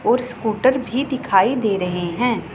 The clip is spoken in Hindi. और स्कूटर भी दिखाई दे रहे हैं।